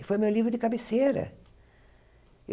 Foi meu livro de cabeceira.